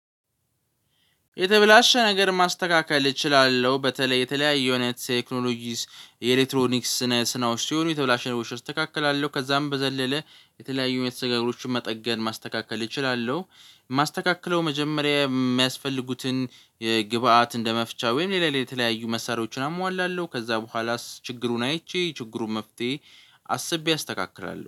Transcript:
የተበላሸ ነገር ማስተካከል እችላለሁ። በተለይ የተለያዩ የኔ ቴክኖሎጂስ የኤሌክትሮኒክስ ስነ ስናውስት የሆኑ የተብላሽ ነገሮች አስተካክላለሁ። ከዛም በዘለለ የተለያዩ የተሰበሩ ነገሮችን መጠገን ማስተካከል እችላለሁ። የማስተካክለው መጀመሪያ የሚያስፈልጉትን ግብአት እንደመፍቻ ወይም ሌላ ሌላ የተለያዩ መሳሪያዎችን አሟላለሁ። ከዛ በኋላስ ችግሩን አይቼ ችግሩን መፍትሄ አስቤ አስተካክላለሁ።